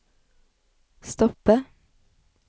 stoppe